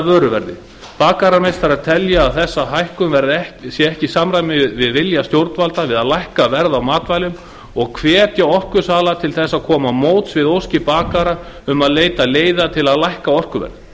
vöruverði bakarameistarar telja að þessi hækkun sé ekki í samræmi við vilja stjórnvalda við að lækka verð á matvælum og hvetja orkusala til að koma til móts við óskir bakara um að leita leiða til að lækka orkuverð